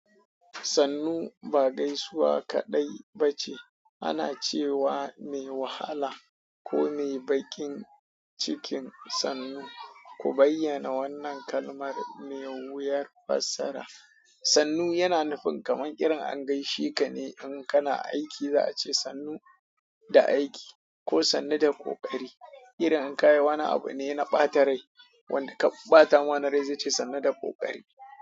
Sannu ba gaisuwa kaɗai ba ce. Ana cewa mai wahala ko mai baƙin cikin sannu. Ku bayyana wannan kalmar mai wuyar fassara. Sannu yana nufin kamar irin an gaishe ka ne in kana aiki za'a ce sannu da aiki ko sannu da ƙoƙari. Irin in ka yi wani abu ne na ɓata rai wanda ka ɓata mana rai zai ce sannu da ƙoƙari.